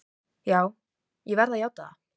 Já, ég verð að játa það.